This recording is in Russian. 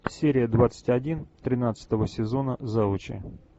серия двадцать один тринадцатого сезона завучи